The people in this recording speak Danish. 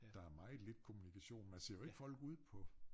Der er meget lidt kommunikation. Man ser jo ikke folk ude på